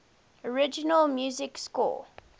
original music score